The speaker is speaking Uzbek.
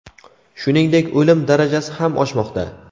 shuningdek o‘lim darajasi ham oshmoqda.